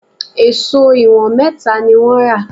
Èṣó ìwọ̀n mẹ́ta ni wọ́n rà